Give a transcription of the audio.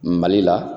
Mali la